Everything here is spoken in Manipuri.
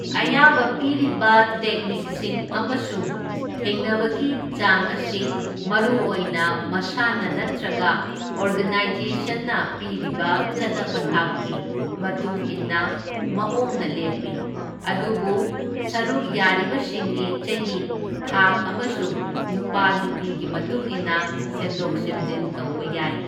ꯑꯌꯥꯕ ꯄꯤꯔꯤꯕ ꯇꯦꯛꯅꯤꯛꯁꯤꯡ ꯑꯃꯁꯨꯡ ꯊꯦꯡꯅꯕꯒꯤ ꯆꯥꯡ ꯑꯁꯤ ꯃꯔꯨꯑꯣꯏꯅ ꯃꯁꯥꯟꯅ ꯅꯠꯇ꯭ꯔꯒ ꯑꯣꯔꯒꯅꯥꯢꯖꯦꯁꯟꯅ ꯄꯤꯔꯤꯕ ꯆꯠꯅ ꯄꯊꯥꯞꯀꯤ ꯃꯇꯨꯡ ꯏꯟꯕ ꯃꯑꯣꯡꯅ ꯂꯦꯞꯄꯤ, ꯑꯗꯨꯕꯨ ꯁꯔꯨꯛ ꯌꯥꯔꯤꯕꯁꯤꯡꯒꯤ ꯆꯍꯤ, ꯊꯥꯛ ꯑꯃꯁꯨꯡ ꯅꯨꯄꯥ ꯅꯨꯄꯤꯒꯤ ꯃꯇꯨꯡꯏꯟꯅ ꯁꯦꯝꯗꯣꯛ ꯁꯦꯝꯖꯤꯟ ꯇꯧꯕ ꯌꯥꯏ꯫